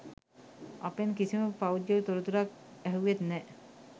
අපෙන් කිසිම පෞද්ගලික තොරතුරක් ඇහුවෙත් නැහැ.